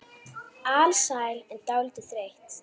Alsæl en dálítið þreytt.